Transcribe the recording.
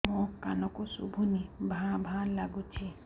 ମୋ କାନକୁ ଶୁଭୁନି ଭା ଭା ଲାଗୁଚି